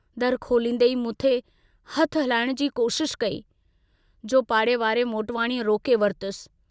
दरु खोलींदें ई मूंते हथु हलाइण जी कोशशि कई, जो पाड़े वारे मोटवाणीअ रोके वरतुसि।